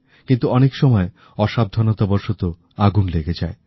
কিন্তু অনেক সময় অসাবধানতাবসত আগুন লেগে যায়